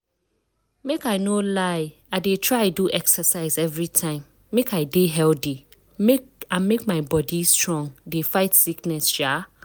make i no lie i dey try do exercise everytime make i dey healthy and make my body strong dey fight sickness. um